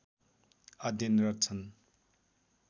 अध्ययनरत छन्